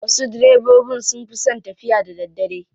Wasu direbobin sun fi son tafiya da daddare.